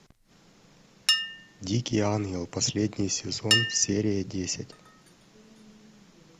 дикий ангел последний сезон серия десять